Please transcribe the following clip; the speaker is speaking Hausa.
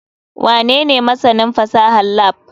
Wanene masanin fasahar lab?